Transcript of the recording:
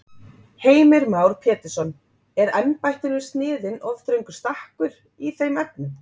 Heimir Már Pétursson: Er embættinu sniðinn of þröngur stakkur í þeim efnum?